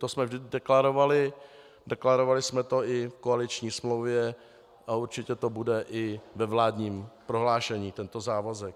To jsme vždy deklarovali, deklarovali jsme to i v koaliční smlouvě a určitě to bude i ve vládním prohlášení, tento závazek.